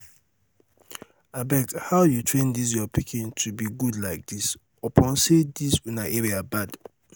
abeg how you train dis your pikin to be good like dis? upon say dis una area bad